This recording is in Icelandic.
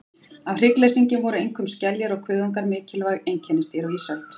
Af hryggleysingjum voru einkum skeljar og kuðungar mikilvæg einkennisdýr á ísöld.